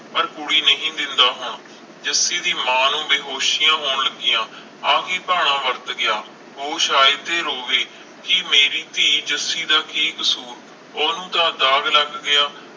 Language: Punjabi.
ਪਰ ਕੁੜੀ ਨਹੀਂ ਮਿਲਦਾ ਹੁਣ ਜੱਸੀ ਦੇ ਮਾਂ ਨੂੰ ਬੇਹੋਸ਼ਿਆ ਹੋਣਗੀਆ ਆ ਕਿ ਭਾਣਾ ਵਰਤ ਗਿਆ ਉਹ ਸਾਈਡ ਤੇ ਰੋਵੇ ਕਿ ਮੇਰੀ ਧੀ ਜੱਸੀ ਦਾ ਕਿ ਕਸੂਰ ਓਹਨੂੰ ਤਾ ਦਾਗ ਲਗ ਗਿਆ